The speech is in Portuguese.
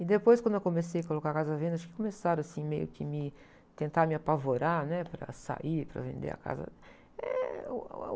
E depois, quando eu comecei a colocar a casa à venda, acho que começaram assim meio que me... Tentar me apavorar, né, para sair, para vender a casa. Eh, uh, a, uh...